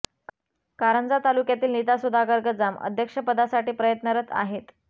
कारंजा तालुक्यामधून नीता सुधाकर गजाम अध्यक्षपदासाठी प्रयत्नरत आहेत